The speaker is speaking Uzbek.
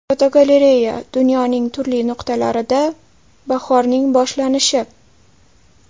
Fotogalereya: Dunyoning turli nuqtalarida bahorning boshlanishi.